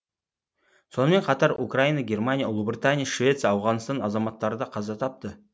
сонымен қатар украина германия ұлыбритания швеция ауғанстан азаматтары да қаза тапты